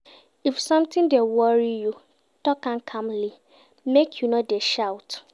If sometin dey worry you, tok am calmly, make you no dey shout.